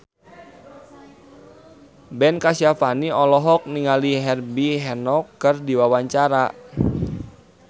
Ben Kasyafani olohok ningali Herbie Hancock keur diwawancara